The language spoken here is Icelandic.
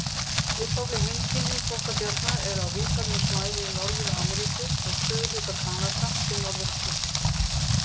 Upprunaleg heimkynni þvottabjarna eru á víðfeðmu svæði í Norður-Ameríku, frá suðurhluta Kanada til Norður-Mexíkó.